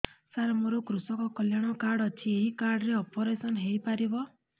ସାର ମୋର କୃଷକ କଲ୍ୟାଣ କାର୍ଡ ଅଛି ଏହି କାର୍ଡ ରେ ଅପେରସନ ହେଇପାରିବ